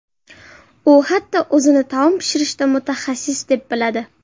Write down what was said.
U hatto o‘zini taom pishirishda mutaxassis deb biladi.